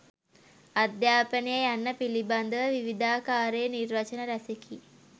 අධ්‍යාපනය යන්න පිලිබඳව විවිධාකාරයේ නිර්වචන රැසෙකි